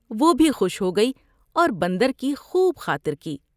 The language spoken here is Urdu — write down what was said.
وہ بھی خوش ہوگئی اور بندر کی خوب خاطر کی ۔